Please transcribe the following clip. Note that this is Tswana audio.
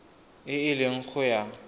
e e leng go ya